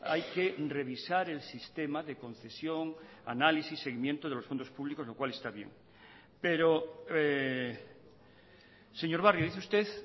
hay que revisar el sistema de concesión análisis seguimiento de los fondos públicos lo cual está bien pero señor barrio dice usted